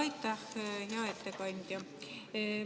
Aitäh, hea ettekandja!